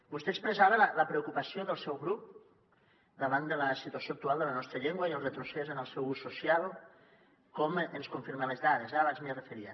vostè expressava la preocupació del seu grup davant de la situació actual de la nostra llengua i el retrocés en el seu ús social com ens confirmen les dades abans m’hi referia